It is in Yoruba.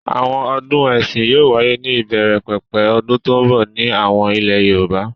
Àwọn ọdún ẹ̀sìn yóò wáyé ní ìbẹ̀rẹ̀pẹ̀pẹ̀ ọdún tó ń bọ̀ ní àwọn ilẹ̀ Yorùbá.